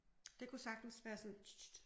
Det kunne sagtens være sådan ts ts ts